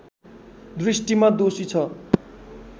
दृष्टिमा दोषी छ